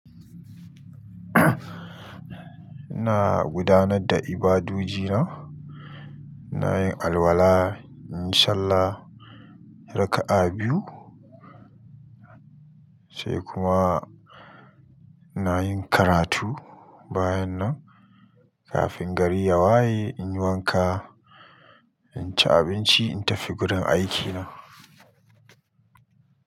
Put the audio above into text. Ina gudanar da ibadoji na, ina yin alwala inyi sallah raka'a biyu, sai kuma ina yin karatu bayan nan kafin gari ya waye in yi wanka, in ci abinci in tafi gurin aiki na.